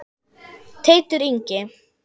Teitur Ingi.